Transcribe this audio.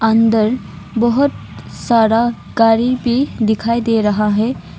अंदर बहुत सारा गाड़ी भी दिखाई दे रहा है।